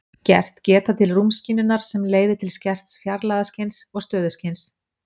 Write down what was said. Skert geta til rúmskynjunar sem leiðir til skerts fjarlægðarskyns og stöðuskyns.